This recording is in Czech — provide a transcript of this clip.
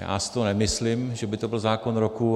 Já si to nemyslím, že by to byl zákon roku.